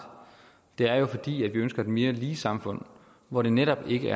er jo at vi ønsker et mere lige samfund hvor det netop ikke